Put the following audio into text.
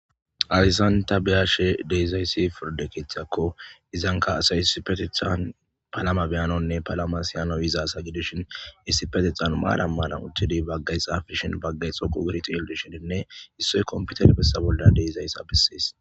Hayssan ta bea'she dizzayssi pirda keththako izzanka assay issipethethan palama bea'nawune palama si'nawu yiza assa gidishin issipethethan maran maran uttid bagay xapishin bagay xoqu gidi xelishene issoy kompithere bessan bolla dizaysa besses.